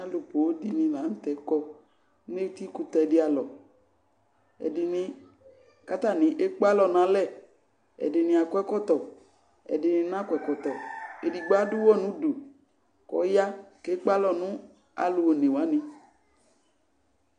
Alʋ poo dɩnɩ la nʋ tɛ kɔ, nʋ etikʋtɛ dɩ alɔ kʋ atanɩ ekpe alɔ nʋ lɛ, ɛdɩnɩ kɔ ɛkɔtɔ, ɛdɩnɩ nakɔ ɛkɔtɔ, edigbo adʋ ʋɣɔ nʋ udu, kʋ ɔya kʋ ekpe alɔ nʋ alʋ one wanɩ